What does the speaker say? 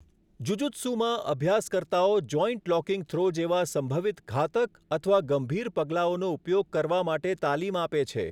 જુજુત્સુમાં, અભ્યાસકર્તાઓ joint locking throw જેવા સંભવિત ઘાતક અથવા ગંભીર પગલાઓનો ઉપયોગ કરવા માટે તાલીમ આપે છે.